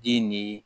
Di ni